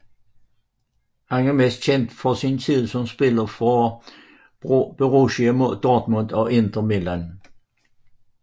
Han er mest kendt fra sin tid som spiller for Borussia Dortmund og Inter Milan